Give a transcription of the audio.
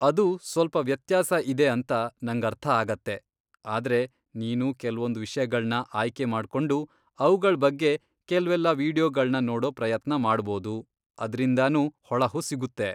ಅದು ಸ್ವಲ್ಪ ವ್ಯತ್ಯಾಸ ಇದೆ ಅಂತ ನಂಗರ್ಥ ಆಗತ್ತೆ, ಆದ್ರೆ ನೀನು ಕೆಲ್ವೊಂದ್ ವಿಷ್ಯಗಳ್ನ ಆಯ್ಕೆ ಮಾಡ್ಕೊಂಡು ಅವ್ಗಳ್ ಬಗ್ಗೆ ಕೆಲ್ವೆಲ್ಲ ವಿಡಿಯೋಗಳ್ನ ನೋಡೋ ಪ್ರಯತ್ನ ಮಾಡ್ಬೋದು, ಅದ್ರಿಂದನೂ ಹೊಳಹು ಸಿಗುತ್ತೆ.